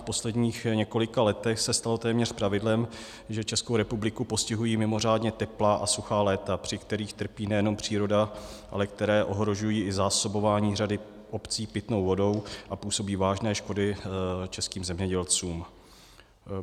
V posledních několika letech se stalo téměř pravidlem, že Českou republiku postihují mimořádně teplá a suchá léta, při kterých trpí nejenom příroda, ale které ohrožují i zásobování řady obcí pitnou vodou a působí vážné škody českým zemědělcům.